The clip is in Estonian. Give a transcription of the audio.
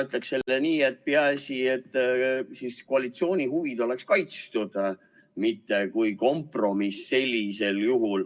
Mina ütleksin jälle nii: peaasi, et koalitsiooni huvid oleksid kaitstud, mitte kompromiss.